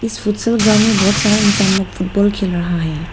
इस ग्राउंड में बहुत सारा इंसान लोग फुटबॉल खेल रहा है।